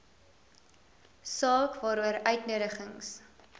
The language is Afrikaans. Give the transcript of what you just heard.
saak waaroor uitnodigings